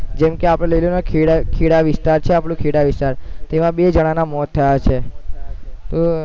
જેમકે આપણે લઇ લઈએ ને ખેડા, ખેડા વિસ્તાર છે આપણો, ખેડા વિસ્તાર તેમાં બે જણાના મોત થયા છે